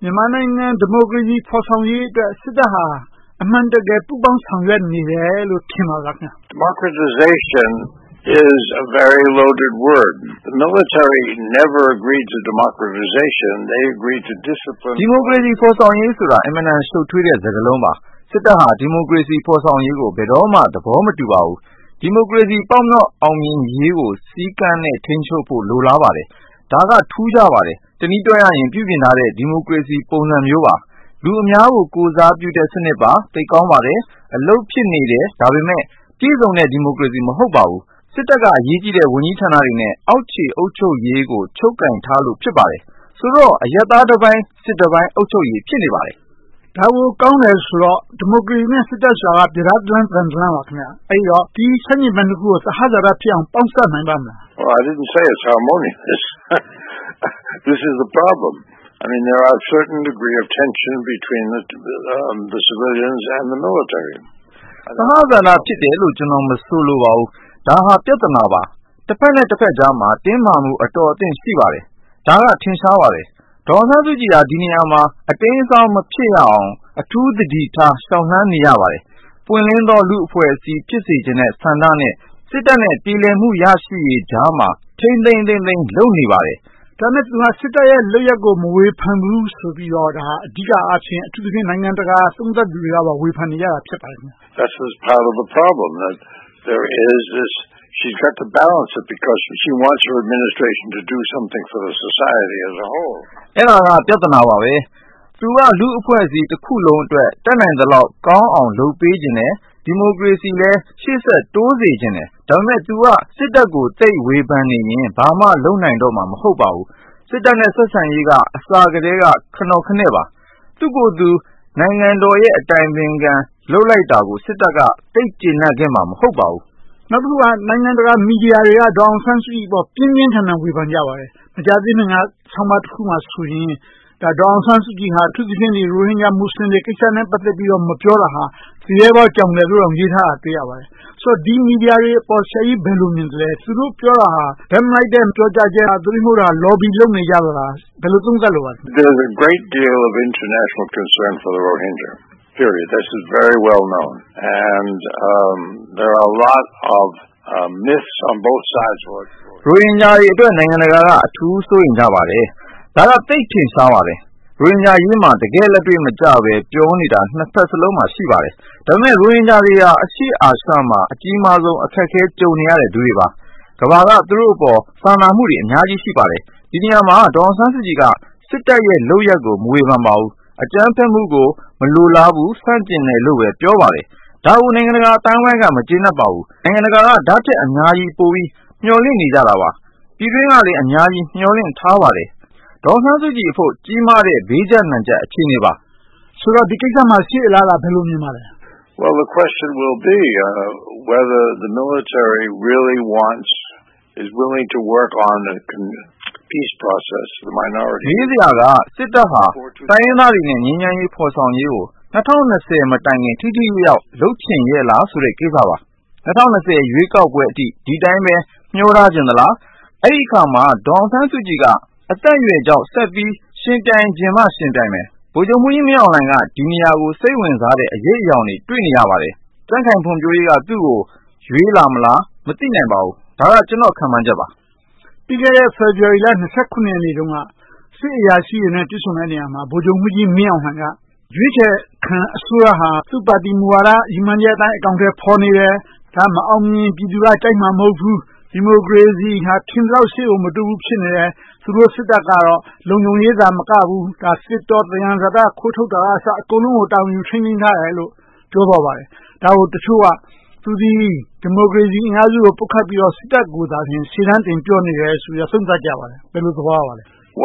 မြန်မာနိုင်ငံ ဒီမိုကရေစီဖော်ဆောင်ရေးအတွက် စစ်တပ်ဟာ အမှန်တကယ် ပူးပေါင်းဆောင်ရွက်နေတယ်လို့ ထင်ပါသလား။ ဒီမိုကရေစီ ဖော်ဆောင်ရေးဆိုတာ အင်မတန် ရှုပ်ထွေးတဲ့စကားလုံးပါ။ စစ်တပ်ဟာ ဒီမိုကရေစီ ဖော်ဆောင်ရေးကို ဘယ်တော့မှ သဘောမတူပါဘူး။ ဒီမိုကရေစီ ပေါက်မြောက်အောင်မြင်ရေးကို စည်းကမ်းနဲ့ ထိန်းချုပ်ဖို့ လိုလားပါတယ်။ ဒါက ထူးခြားပါတယ်။ တနည်းပြောရရင် ပြုပြင်ထားတဲ့ ဒီမိုကရေစီ ပုံစံမျိုးပါ။ လူအများကို ကိုယ်စားပြုတဲ့ စနစ်ပါ။ အလုပ်ဖြစ်နေတယ်။ ဒါပေမဲ့ ပြည့်စုံတဲ့ ဒီမိုကရေစီ မဟုတ်ပါဘူး။ စစ်တပ်က အရေးကြီးတဲ့ ဝန်ကြီးဌာနတွေနဲ့ အောက်ခြေအုပ်ချုပ်ရေးကို ချုပ်ကိုင်ထားလို့ ဖြစ်ပါတယ်။ ဆိုတော့ အရပ်သားတပိုင်း၊ စစ်သားတပိုင်း အုပ်ချုပ်ရေး ဖြစ်နေပါတယ်။ ဒါကို ကောင်းတယ်ဆိုတော့ ဒီမိုကရေစီနဲ့ စစ်တပ်တို့က ပြဒါးတလမ်း သံတလမ်းပါ။ အဲဒီတော့ ဒီဆန့်ကျင်ဘက်နှစ်ခုကို သဟဇာတဖြစ်အောင် ပေါင်းစပ်နိုင်ပါ့မလား။ သဟဇာတ ဖြစ်တယ်လို့ ကျနော် မဆိုလိုပါဘူး။ ဒါဟာ ပြဿနာပါ။ တဘက်နဲ့တဘက်ကြားမှာ တင်းမာမှု အတော်အသင့် ရှိပါတယ်။ ဒါက ထင်ရှားပါတယ်။ ဒေါ်အောင်ဆန်းစုကြည် က ဒီနေရာမှာ အတိမ်အစောင်း မဖြစ်အောင် အထူးသတိထား လျှောက်လှမ်းနေရပါတယ်။ ပွင့်လင်းသော လူ့အဖွဲ့အစည်း ဖြစ်စေချင်တဲ့ ဆန္ဒနဲ့ စစ်တပ်နဲ့ ပြေလည်မှု ရရှိရေးကြားမှာ ထိန်းထိန်းသိမ်းသိမ်း လုပ်နေပါတယ်။ ဒါပေမဲ့ သူက စစ်တပ်ရဲ့ လုပ်ရပ်ကို မဝေဖန်ဘူးဆိုပြီးတော့ အဓိကအားဖြင့် အထူးသဖြင့် နိုင်ငံတကာ သုံးသပ်သူတွေက ဝေဖန်နေကြတာ ဖြစ်ပါတယ်။ အဲဒါက ပြဿနာပါပဲ။ သူက လူ့အဖွဲ့အစည်းတခုလုံးအတွက် တတ်နိုင်သလောက်ကောင်းအောင် လုပ်ပေးချင်တယ်။ ဒီမိုကရေစီကိုလည်း ရှေ့ဆက်တိုးစေချင်တယ်။ ဒါပေမဲ့ သူက စစ်တပ်ကို သိပ်ဝေဖန်နေရင် ဘာမှလုပ်နိုင်တော့မှာ မဟုတ်ပါဘူး။ စစ်တပ်နဲ့ ဆက်ဆံရေးက အစကတည်းက ခနော်ခနဲ့ပါ။ သူ့ကိုယ်သူ နိုင်ငံတော်၏ အတိုင်ပင်ခံ ပုဂ္ဂိုလ် လုပ်လိုက်တာကို စစ်တပ်က သိပ်ကျေနပ်ခဲ့မှာ မဟုတ်ပါဘူး။ နောက်တခုက နိုင်ငံတကာ မီဒီယာတွေက ဒေါ်အောင်ဆန်းစုကြည်အပေါ် ပြင်းပြင်းထန်ထန် ဝေဖန်ကြပါတယ်။ မကြာသေးခင်က ဆောင်းပါးတခုမှာဆိုရင် ဒေါ်အောင်ဆန်းစုကြည်က အထူးသဖြင့် ရိုဟင်ဂျာမူစလင်တွေ ကိစ္စနဲ့ ပတ်သက်ပြီးတော့ မပြောတာဟာ သူရဲဘောကြောင်တယ်လို့တောင် ပြောထားပါတယ်။ ဆိုတော့ ဒီ မီဒီယာတွေအပေါ် ဆရာကြီး ဘယ်လိုမြင်သလဲ။ သူတို့ပြောတာဟာ ဘက်မလိုက်တဲ့ ပြောကြားချက်လား။ သို့တည်းမဟုတ် Lobby လုပ်နေကြတာလား။ ဘယ်လို သုံးသပ်လိုပါလဲ။ ရိုဟင်ဂျာတွေအတွက် နိုင်ငံတကာက အထူးစိုးရိမ်ကြပါတယ်။ ဒါက သိပ်ထင်ရှားပါတယ်။ ရိုဟင်ဂျာအရေးမှာ တကယ့်လက်တွေ့မကျဘဲ ပြောနေတာ နှစ်ဘက်စလုံးမှာ ရှိပါတယ်။ ဒါပေမဲ့ ရိုဟင်ဂျာတွေဟာ အရှေ့အာရှမှာ အကြီးမားဆုံး အခက်အခဲ ကြုံနေရတဲ့သူတွေပါ။ ကမ္ဘာက သူတို့အပေါ် စာနာမှုတွေ အများကြီးရှိပါတယ်။ ဒီနေရာမှာ ဒေါ်အောင်ဆန်းစုကြည်က စစ်တပ်ရဲ့ လုပ်ရပ်ကို မဝေဖန်ပါဘူး။ အကြမ်းဖက်မှုကို မလိုလားဘူး။ ဆန့်ကျင်တယ်လို့ပဲ ပြောပါတယ်။ ဒါကို နိုင်ငံတကာအသိုင်းအဝိုင်းက မကျေနပ်ပါဘူး။ နိုင်ငံတကာက ဒါထက်အများကြီး ပိုပြီးမျှော်လင့်နေကြတာပါ။ ပြည်တွင်းကလည်း အများကြီး မျှော်လင့်ထားပါတယ်။ ဒေါ်အောင်ဆန်းစုကြည်အဖို့ ကြီးမားတဲ့ ဘေးကျပ်နံကျပ် အခြေအနေပါ။ ဆိုတော့ ဒီကိစ္စမှာ ရှေ့အလားအလာ ဘယ်လိုမြင်ပါလဲ။ မေးစရာက စစ်တပ်ဟာ တိုင်းရင်းသားတွေနဲ့ ငြိမ်းချမ်းရေးဖော်ဆောင်ရေးကို ၂၀၂၀ မတိုင်ခင် ထိထိရောက်ရောက် လုပ်ချင်ရဲ့လားဆိုတဲ့ ကိစ္စပါ။ ၂၀၂၀ ရွေးကောက်ပွဲအထိ ဒီအတိုင်းပဲ မျောထားချင်သလား။ အဲဒီအခါမှာ ဒေါ်အောင်ဆန်းစုကြည်က အသက်အရွယ်ကြောင့် ဆက်ပြီးယှဉ်ပြိုင်ချင်မှ ယှဉ်ပြိုင်မယ်။ ဗိုလ်ချုပ်မှူးကြီးမင်းအောင်လှိုင်က ဒီနေရာကို စိတ်ဝင်စားတဲ့ အရိပ်အရောင်တွေ တွေ့နေရပါတယ်။ ကြံ့ခိုင်ဖွံ့ဖြိုးရေးက သူကို ရွေးလာမလား။ မသိနိုင်ပါဘူး။ ဒါက ကျနော့် ခန့်မှန်းချက်ပါ။ ပြီးခဲ့တဲ့ ဖေဖေါ်ဝါရီလ ရက်နေ့တုန်းက စစ်အရာရှိတွေနဲ့ တွေ့ဆုံတဲ့နေရာမှာ ဗိုလ်ချုပ်မှူးကြီးမင်းအောင်လှိုင်က ရွေးချယ်ခံအစိုးရဟာ သူ့ပါတီမူဝါဒအတိုင်း အကောင်အထည်ဖော်နေတယ်။ ဒါ မအောင်မြင်ရင် ပြည်သူက ကြိုက်မှာမဟုတ်ဘူး။ ဒီမိုကရေစီဟာ ထင်သလောက် ရှေ့ကို မတိုးဘူးဖြစ်နေတယ်။ သူတို့စစ်တပ်ကတော့ လုံခြုံရေးသာမကဘူး၊ သစ်တော၊ သယံဇာတ ခိုးထုတ်တာကအစ အကုန်လုံးကို တာဝန်ယူထိန်းသိမ်းထားတယ်လို့ ပြောသွားပါတယ်။ ဒါကို တချို့က သူသည် ဒီမိုကရေစီအင်အားစုတွေကို ပုတ်ခတ်ပြီးတော့ စစ်တပ်ကိုသာ ရှေ့တန်းတင်ပြောနေတယ်လို့ သုံးသပ်ကြပါတယ်။ ဘယ်လို သဘောရပါလဲ။